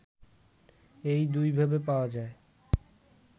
এই দুইভাবে পাওয়া যায়